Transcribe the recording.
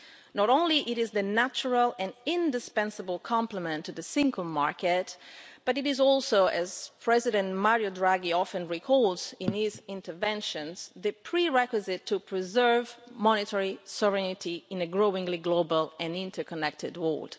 Not only is it the natural and indispensable complement to the single market, but it is also, as President Mario Draghi often recalls in his speeches, the prerequisite for preserving monetary sovereignty in an increasingly global and interconnected world.